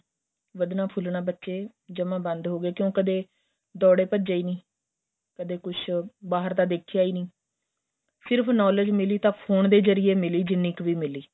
ਵੱਧਣਾ ਫੁੱਲਣ ਬੱਚੇ ਜਮਾਂ ਬੰਦ ਹੋ ਗਏ ਕਿਉ ਕਦੇਂ ਦੋੜੇ ਭੱਜ਼ੇ ਨਹੀਂ ਕਦੇਂ ਕੁੱਛ ਬਹਾਰ ਦਾ ਦੇਖਿਆਂ ਹੀ ਨਹੀਂ ਸਿਰਫ਼ knowledge ਮਿੱਲੀ ਤਾਂ ਫੋਨ ਦੇ ਜਰੀਏ ਮਿਲੀ ਜਿੰਨੀ ਕ ਵੀ ਮਿੱਲੀ